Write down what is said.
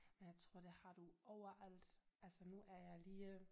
Men jeg tror det har du overalt altså nu er jeg lige